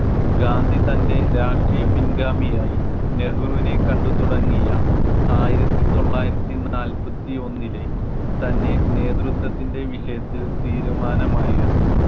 ഗാന്ധി തൻ്റെ രാഷ്ട്രീയ പിൻഗാമി ആയി നെഹ്രുവിനെ കണ്ടു തുടങ്ങിയ ആയിരത്തിതൊള്ളായിരത്തിനാല്പത്തിഒന്നിലേ തന്നെ നേതൃത്വത്തിൻ്റെ വിഷയത്തിൽ തീരുമാനം ആയിരുന്നു.